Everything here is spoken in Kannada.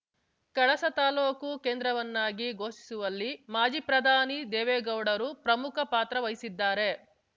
ಕಳಸ ತಾಲೂಕು ಕೇಂದ್ರವನ್ನಾಗಿ ಘೋಷಿಸುವಲ್ಲಿ ಮಾಜಿ ಪ್ರಧಾನಿ ದೇವೇಗೌಡರು ಪ್ರಮುಖ ಪಾತ್ರ ವಹಿಸಿದ್ದಾರೆ